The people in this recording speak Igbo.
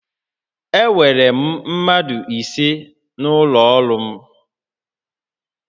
Enwere mmadụ ise n'ụlọ ọrụ m